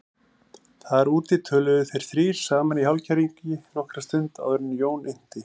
Þar úti töluðu þeir þrír saman í hálfkæringi nokkra stund áður en Jón innti